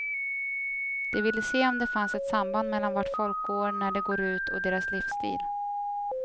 De ville se om det fanns ett samband mellan vart folk går när de går ut och deras livsstil.